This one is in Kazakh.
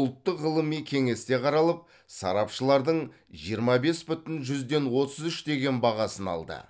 ұлттық ғылыми кеңесте қаралып сарапшылардың жиырма бес бүтін жүзден отыз үш деген бағасын алды